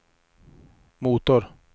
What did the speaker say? motor